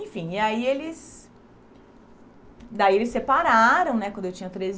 Enfim, e aí eles... Daí eles separaram né, quando eu tinha treze